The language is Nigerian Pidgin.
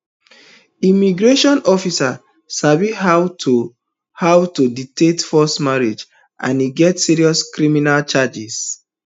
immigration officers sabi how to how to detect false marriages and e get serious criminal charges